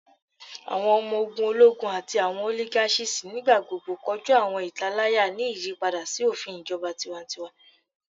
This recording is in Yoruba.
Awọn ọmọ ogun ologun ati awọn oligarchies nigbagbogbo koju awọn italaya ni iyipada si ofin ijọba tiwantiwa